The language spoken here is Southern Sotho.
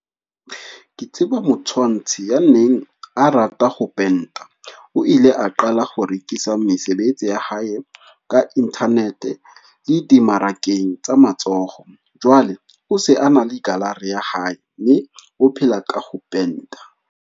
Ke tseba motshwantshi ya neng a rata ho penta, o ile a qala ho rekisa mesebetsi ya hae ka internet le dimmarakeng tsa matsoho. Jwale o se a na le gallery ya hae mme o phela ka ho penta.